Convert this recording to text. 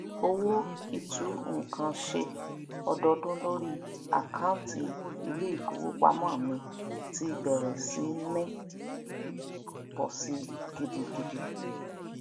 owó itu nkan ṣe ọdọọdún lórí akaunti iléìfowópamó mi ti bèrè sí ní pọ sí gidigidi